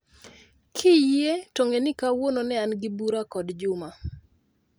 Kiyie to ng'eni kawuono ne an gi bura kod Juma